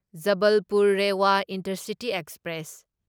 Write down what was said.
Jabalpur Rewa intercity express